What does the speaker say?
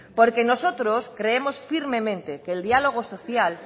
porque nosotros creemos firmemente que el diálogo social